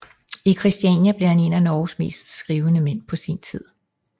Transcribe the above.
I Christiania blev han en af Norges mest skrivende mænd på sin tid